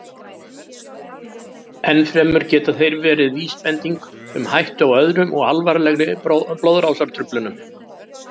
Enn fremur geta þeir verið vísbending um hættu á öðrum og alvarlegri blóðrásartruflunum.